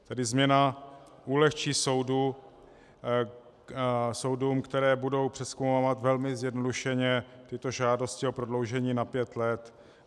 Tady změna ulehčí soudům, které budou přezkoumávat velmi zjednodušeně tyto žádosti, o prodloužení na pět let.